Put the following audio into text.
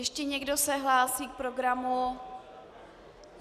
Ještě někdo se hlásí k programu?